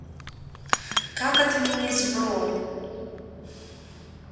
как отменить бронь